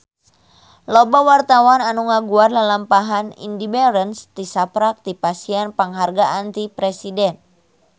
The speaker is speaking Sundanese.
Loba wartawan anu ngaguar lalampahan Indy Barens tisaprak dipasihan panghargaan ti Presiden